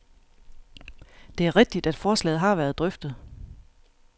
Det er rigtigt, at forslaget har været drøftet.